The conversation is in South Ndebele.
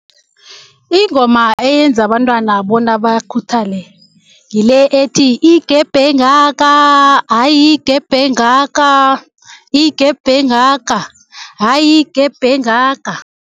Ingoma eyenza abantwana bona bakhuthale ngile ethi, Igebhe engaka, hayi igebhe engaka, igebhe engaka, hayi igebhe engaka.